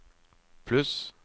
pluss